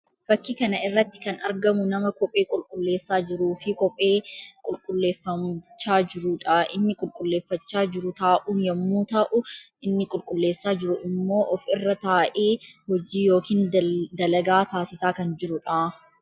Fakkii kana irratti kan argamu nama kophee qulqulleessaa jiruu fi qophee qulqulleeffachaa jiruu dha. Inni qulqulleeffachaa jiru taa'uun yammuu ta'u; inni qulqulleessaa jiru immoo of irra taa'ee hojii yookiin dalagaa taasisaa kan jiruu dha.